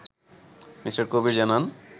Me. Kabir জানান